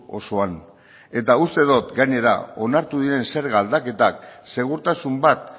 osoan uste dut gainera onartu diren zerga aldaketak segurtasun bat